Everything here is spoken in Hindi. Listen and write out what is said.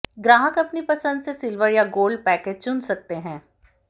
ग्राहक अपनी पसंद से सिल्वर या गोल्ड पैकेज चुन सकते हैं